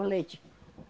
O leite.